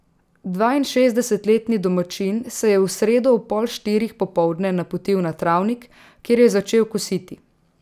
Dvainšestdesetletni domačin se je v sredo ob pol štirih popoldne napotil na travnik, kjer je začel kositi.